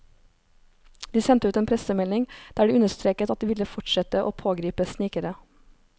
De sendte ut en pressemelding der de understreket at de ville fortsette å pågripe snikere.